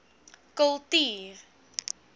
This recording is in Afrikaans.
kultuur